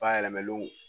Bayɛlɛmalenw